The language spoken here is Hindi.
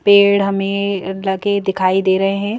पेड़ हमें लगे दिखाई दे रहे हैं।